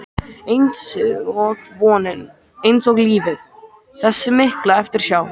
einsog vonin, einsog lífið- þessi mikla eftirsjá.